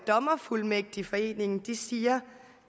dommerfuldmægtigforeningen siger